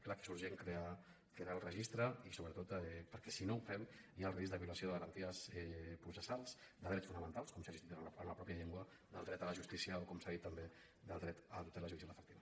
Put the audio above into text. clar que és urgent crear aquest registre sobretot per·què si no ho fem hi ha el risc de violació de garanties processals de drets fonamentals com ser assistit en la pròpia llengua del dret a la justícia o com s’ha dit també del dret a la tutela judicial efectiva